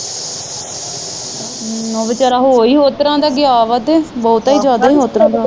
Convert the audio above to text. ਹਮ ਉਹ ਵਿਚਾਰਾ ਹੋ ਈ ਹੋਰ ਤਰਾਂ ਦਾ ਗਿਆ ਵਾ ਤੇ ਬਹੁਤਾ ਜਿਆਦਾ ਈ ਹੋਰ ਤਰਾਂ ਦਾ